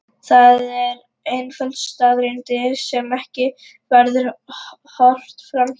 Það er einföld staðreynd sem ekki verður horft fram hjá.